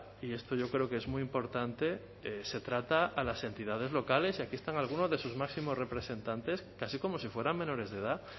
y esto yo creo que es muy importante se trata a las entidades locales y aquí están algunos de sus máximos representantes casi como si fueran menores de edad